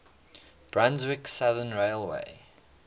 brunswick southern railway